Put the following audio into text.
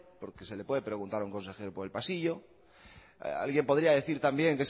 porque se le puede preguntar a un consejero por el pasillo alguien podría decir también